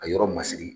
A yɔrɔ masiri